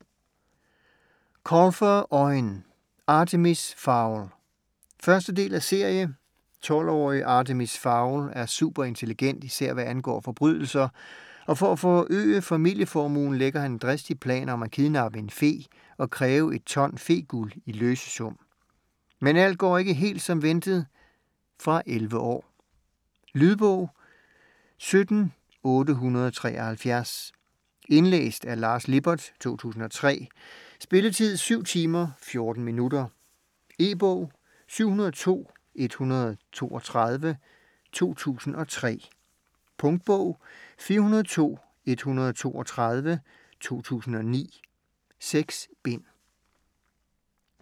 Colfer, Eoin: Artemis Fowl 1. del af serie. 12-årige Artemis Fowl er superintelligent især hvad angår forbrydelser, og for at forøge familieformuen lægger han en dristig plan om at kidnappe en fe og kræve et ton fe-guld i løsesum. Men alt går ikke helt som ventet. Fra 11 år. Lydbog 17873 Indlæst af Lars Lippert, 2003. Spilletid: 7 timer, 14 minutter. E-bog 702132 2003. Punktbog 402132 2009. 6 bind.